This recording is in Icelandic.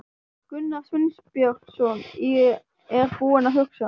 Gunnar Sveinbjörnsson er búinn að hugsa.